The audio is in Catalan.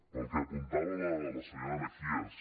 pel que apuntava la senyora mejías